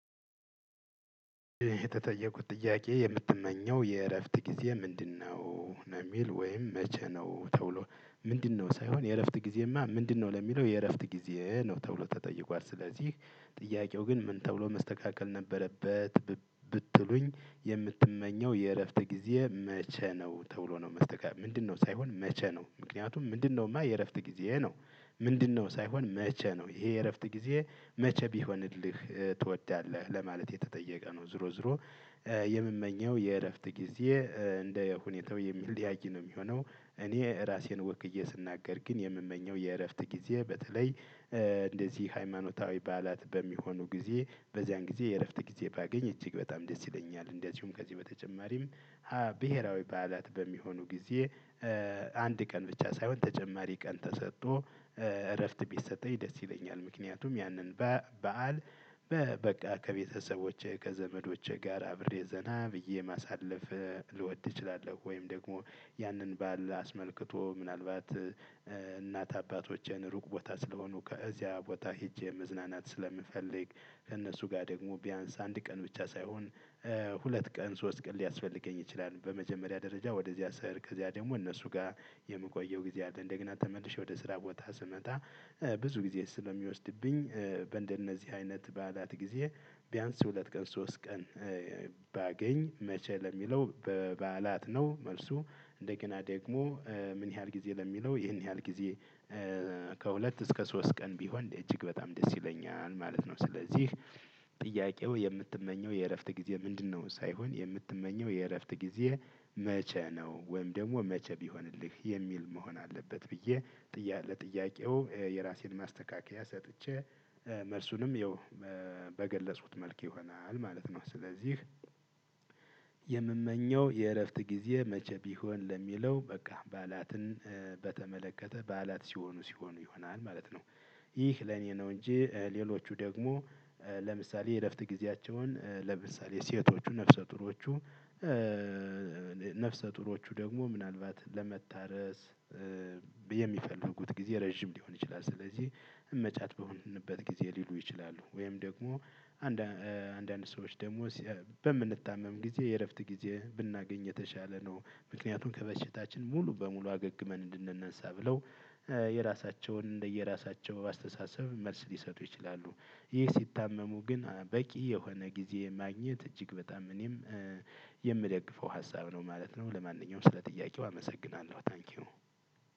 የተጠየኩት ጥያቄ የምትመኘው የእረፍት ጊዜ ምንድነው? ነው የሚል ወይም መቼ ነው ተብሎ? ምንድነው ሳይሆን የእረፍት ጊዜማ ምንድነው ለሚለው የእረፍት ጊዜ ነው ተብሎ ተጠይቋል። ስለዚህ ጥያቄው ግን ምን ተብሎ መስተካከል ነበረበት። ብትሉኝ የምትመኘው የእረፍት ጊዜ መቼ ነው ተብሎ ነው መስተካከል ምንድነው ሳይሆን መቼ ነው ምክንያቱም ምንድነውማ የእረፍት ጊዜ ነው? ምንድነው ሳይሆን መቼ ነው ይሄ የእረፍት ጊዜ? መቼ ቢሆንልህ ትወዳለህ ለማለት የተጠየቀ ነው። ዝሮ ዝሮ። የምመኘው የእረፍት ጊዜ እንደ ሁኔታው የሚለያይ ነው የሚሆነው። እኔ ራሴን ወክዬ ስናገር ግን የምመኘው የእረፍት ጊዜ በተለይ እንደዚህ ሃይማኖታዊ በዓላት በሚሆኑ ጊዜ በዚያን ጊዜ የእረፍት ጊዜ ባገኝ እጅግ በጣም ደስ ይለኛል እንዲያውም ከዚህ በተጨማሪም። ብሄራዊ በዓላት በሚሆኑ ጊዜ። አንድ ቀን ብቻ ሳይሆን ተጨማሪ ቀን ተሰጥቶ እረፍት ቢሰጠኝ ደስ ይለኛል። ምክንያቱም ያንን በዓል በቃ ከቤተሰቦቼ ከዘመዶቼ ጋር አብሬ ዜና ብዬ ማሳለፍ። ልወድ እችላለሁ። ወይም ደግሞ ያንን ባል አስመልክቶ ምናልባት እናት አባቶችን ሩቅ ቦታ ስለሆኑ ከዚያ ቦታ ሄጄ መዝናናት ስለምፈልግ። ከእነሱ ጋር ደግሞ ቢያንስ አንድ ቀን ብቻ ሳይሆን- ሁለት ቀን ሶስት ቀን ሊያስፈልገኝ ይችላል። በመጀመሪያ ደረጃ ወደዚያ ስር ከዚያ ደግሞ እነሱ ጋር የምቆየው ጊዜ አለ እንደገና ተመልሼ ወደ ስራ ቦታ ስመጣ-። ብዙ ጊዜ ስለሚወስድብኝ። በእንደነዚህ አይነት ባላት ጊዜ ቢያንስ ሁለት ቀን ሶስት ቀን-። ባገኝ መቼ ለሚለው በበዓላት ነው መልሱ። እንደገና ደግሞ ምን ያህል ጊዜ ለሚለው ይህን ያህል ጊዜ- ከሁለት እስከ ሶስት ቀን ቢሆን እጅግ በጣም ደስ ይለኛል። ማለት ነው። ስለዚህ ጥያቄው የምትመኘው የእረፍት ጊዜ ምንድነው? ሳይሆን የምትመኘው የእረፍት ጊዜ- መቼ ነው? ወይም ደግሞ መቼ ቢሆንልህ የሚል መሆን አለበት። ብዬ-። ለጥያቄው የራሴን ማስተካከያ ሰጥቼ። መልሱንም ይኸው በገለጹት መልክ ይሆናል ማለት ነው። ስለዚህ-። የምመኘው የእረፍት ጊዜ መቼ ቢሆን ለሚለው በቃ በዓላትን በተመለከተ በዓላት ሲሆኑ ሲሆኑ ይሆናል ማለት ነው። ይህ ለኔ ነው። እንጂ ሌሎቹ ደግሞ ለምሳሌ የእረፍት ጊዜያቸውን ለምሳሌ ሴቶቹ ነፍሰ ጡሮቹ። ነፍሰ ጡሮቹ ደግሞ ምናልባት ለመታረስ። የሚፈልጉት ጊዜ ረጅም ሊሆን ይችላል። ስለዚህ እመጫት በሆንንበት ጊዜ ሊሉ ይችላሉ ወይም ደግሞ አንዳንድ ሰዎች ደግሞ በምንታመም ጊዜ የእረፍት ጊዜ ብናገኝ የተሻለ ነው። ምክንያቱም ከበሽታችን ሙሉ በሙሉ አገግመን እንድንነሳ ብለው የራሳቸውን እንደየራሳቸው አስተሳሰብ መልስ ሊሰጡ ይችላሉ። ይህ ሲታመሙ ግን በቂ የሆነ ጊዜ ማግኘት እጅግ በጣም እኔም- የምደግፈው ሀሳብ ነው ማለት ነው። ለማንኛውም ስለ ጥያቄው አመሰግናለሁ። ታንኪው።